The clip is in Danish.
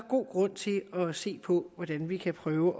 god grund til at se på hvordan vi kan prøve